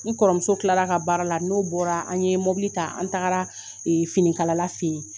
N kɔrɔmuso tilara a ka baara la n'o bɔra an ye mɔbili ta an tagara ee finikalala fɛ yen